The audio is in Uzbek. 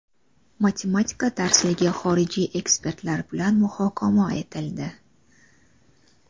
Matematika darsligi xorijiy ekspertlar bilan muhokama etildi.